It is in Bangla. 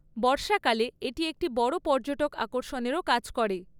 বর্ষাকালে এটি একটি বড় পর্যটক আকর্ষণেরও কাজ করে।